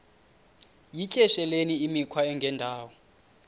yityesheleni imikhwa engendawo